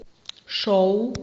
шоу